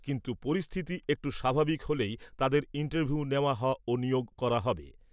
কিন্তু পরিস্থিতি একটু স্বাভাবিক হলেই তাদের ইন্টারভিউ নেওয়া ও নিয়োগ করা হবে।